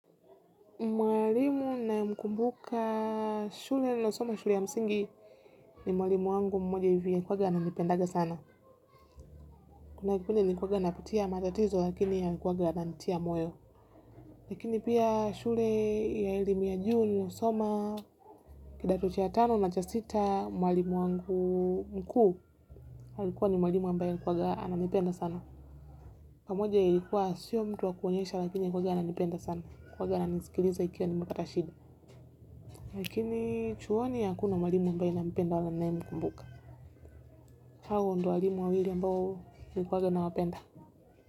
Mwalimu ninaye mkumbuka shule nililo soma shule ya msingi ni mwalimu wangu mmoja hivi alikuanga ananipendanga sana. Kuna kipende nilikwanga napitia matatizo lakini ya nkwaga anantia moyo. Lakini pia shule ya elimu ya juu niliosoma kidato cha tano na cha sita mwalimu wangu mkuu alikuwa ni mwalimu ambayo anakuanga ananipenda sana. Pamoja ilikuwa sio mtu wakuonyesha lakini alikuanga ananipenda sana. Alikuanga ananisikiliza nikiwa nimepata shida. Lakini chuoni hakuna mwalimu ambayo nina mpenda wala ninaemkumbuka. Hawa ndio walimu wawili ambayo nilikuanga nawapenda.